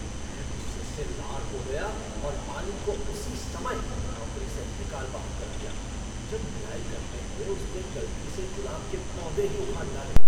मैं गुस्से से लाल हो गया और माली को उसी समय नौकरी से निकाल बाहर दिया जब निराई करते हुए उसने गलती से गुलाब के पौधे ही उखाड़ डाले।